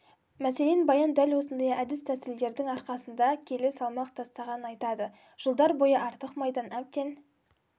мәселен баян дәл осындай әдіс-тәсілдердің арқасында келі салмақ тастағанын айтады жылдар бойы артық майдан әбден